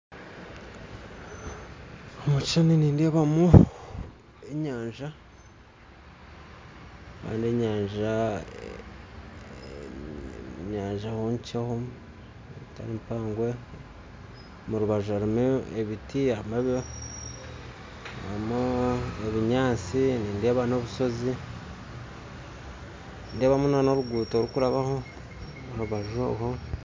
Omu kishushani nindeebamu enyanja nenyanja enkyeho teri mpango omu rubaju harimu ebiti, ebinyansi nindeeba n'obusozi, nindeebamu n'oruguto orurikurabaho omu rubaju